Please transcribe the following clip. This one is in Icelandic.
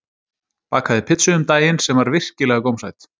Bakaði pizzu um daginn sem var virkilega gómsæt